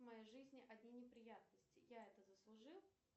в моей жизни одни неприятности я это заслужил